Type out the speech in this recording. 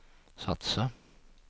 satsa